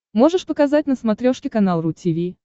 можешь показать на смотрешке канал ру ти ви